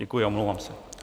Děkuji a omlouvám se.